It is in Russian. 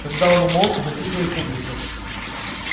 когда он умолк затихла и публика